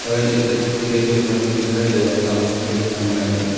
दवाई डेट बने हुए दिखाई दे रहे हैं सामने बनाई हुई दिखाई--